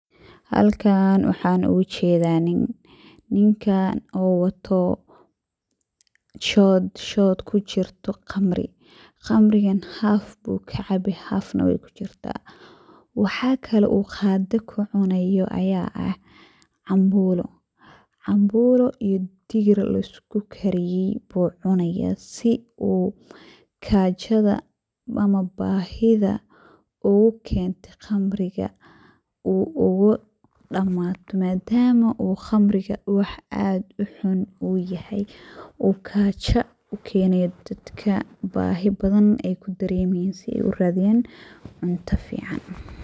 Halkan waxan ogajeda nin, ninkan oo wato shod kujirto qamri, qamrigan haf ayu kacabe haf neh wey kujirta. Waxaa kale oo qado uu kucunaya aya ah cambulo, cambulo iyo digir laiskukariye ayu cunaya si uu gajada ama bahida ugukente qamriga ogadamato madama uu qamriga wax aad uxun uu yahay oo gajo ukeynayo dadka bahi badana ey kadaremayan si uradiyan cunto fican.